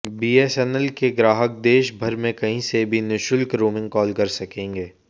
BSNL के ग्राहक देश भर में कहीं से भी निशुल्क रोंमिग काल कर सकेंगे